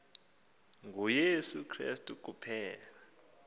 nguyesu krestu kuphela